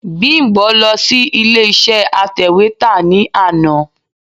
Bímbọ̀ lọ sí ilé iṣé atẹ̀wétà ní àná.